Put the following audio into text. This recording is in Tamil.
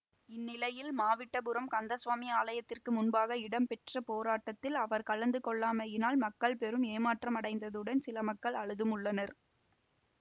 இந்நிலையில் மாவிட்டபுரம் கந்தசுவாமி ஆலயத்திற்கு முன்பாக இடம்பெற்ற போராட்டத்தில் அவர் கலந்து கொள்ளாமையினால் மக்கள் பெரும் ஏமாற்றமடைந்ததுடன் சில மக்கள் அழுதும் உள்ளனர்